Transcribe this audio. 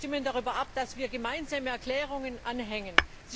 Sie stimmen darüber ab, dass wir Gemeinsame Erklärungen anhängen.